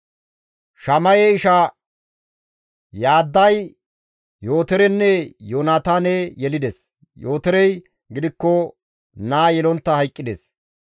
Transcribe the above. Shamaye isha Yaadday Yootorenne Yoonataane yelides; Yootorey gidikko naa yelontta hayqqides.